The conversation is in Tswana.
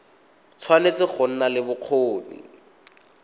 tshwanetse go nna le bokgoni